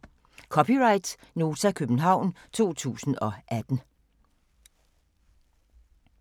(c) Nota, København 2018